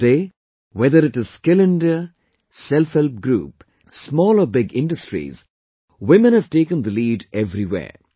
Today, whether it is Skill India, Self Help Group, small or big industries, women have taken the lead everywhere